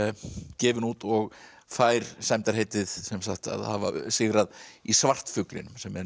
gefin út og fær sæmdarheitið að hafa sigrað í svartfuglinum sem er